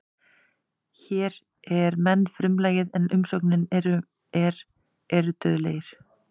Hér er menn frumlagið en umsögnin er eru dauðlegir.